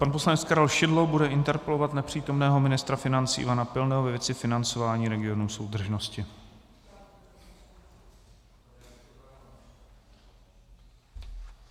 Pan poslanec Karel Šidlo bude interpelovat nepřítomného ministra financí Ivana Pilného ve věci financování regionů soudržnosti.